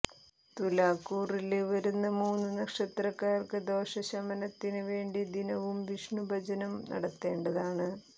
തുലാക്കൂറില് വരുന്ന മൂന്ന് നക്ഷത്രക്കാര്ക്ക്ക ദോഷ ശമനത്തിന് വേണ്ടി ദിനവും വിഷ്ണു ഭജനം നടത്തേണ്ടതാണ്